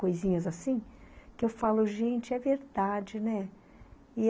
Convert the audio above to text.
Coisinhas assim, que eu falo, gente, é verdade, né?